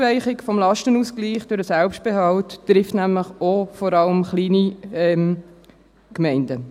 Die Aufweichung des Lastenausgleichs durch den Selbstbehalt trifft nämlich vor allem auch kleine Gemeinden.